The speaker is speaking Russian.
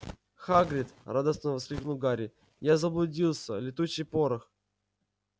хагрид радостно воскликнул гарри я заблудился летучий порох